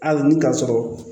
Hali ni ka sɔrɔ